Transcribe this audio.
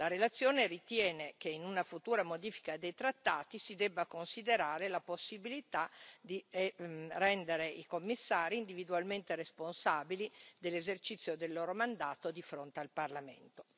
La relazione ritiene che in una futura modifica dei trattati si debba considerare la possibilità di rendere i Commissari individualmente responsabili dell'esercizio del loro mandato di fronte al Parlamento.